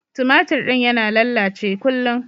Tumatir din yana lallace kullun.